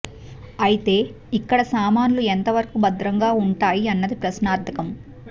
అయితే ఇక్కడ సామాన్లు ఎంత వరకు భద్రంగా ఉంటాయి అన్నది ప్రశ్నార్థకం